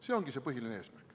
See ongi see põhiline eesmärk.